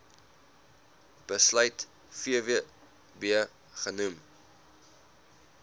besluit vvb genoem